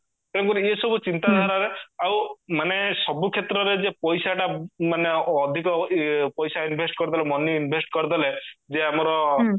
ତେଣୁ କରିକି ଏ ସବୁ ଚିନ୍ତା ଧାରାରେ ଆଉ ମାନେ ସବୁ କ୍ଷେତ୍ରରେ ଯେ ପଇସାଟା ମାନେ ଅଧିକ ଇଏ ପଇସା invest କରିଦେଲେ money invest କରିଦେଲେ ଯେ ଆମର